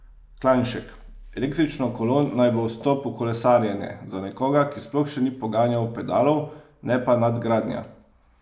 Klanšek: "Električno kolo naj bo vstop v kolesarjenje", za nekoga, ki sploh še ni poganjal pedalov, "ne pa nadgradnja".